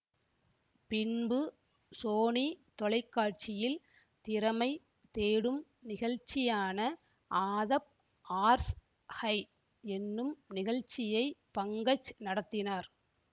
பின்பு சோனி தொலைக்காட்சியில் திறமை தேடும் நிகழ்ச்சியான ஆதப் ஆர்ஸ் ஹை என்னும் நிகழ்ச்சியை பங்கஜ் நடத்தினார்